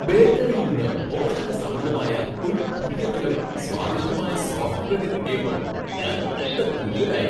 ബേക്കറിയിൽ നിന്ന് പോഷകസമൃദ്ധദമായ ഒരു പുതിയ തരം സ്വാദിഷ്ടമായ സോഫ്റ്റ് ബ്രഡ് കിട്ടിയപ്പോ ഞാൻ നല്ല ത്രില്ലിലായി.